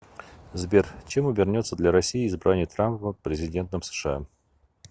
сбер чем обернется для россии избрание трампа президентом сша